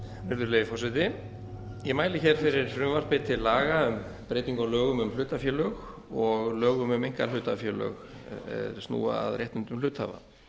virðulegi forseti ég mæli hér fyrir frumvarpi til laga um breytingu á lögum um hlutafélög og lögum um einkahlutafélög er snúa að réttindum hluthafa